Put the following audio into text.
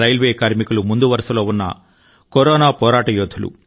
railway కార్మికులు ముందు వరుసలో ఉన్న కరోనా పోరాట యోధులు